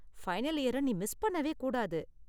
Final இயர நீ miss பண்ணவே கூடாது.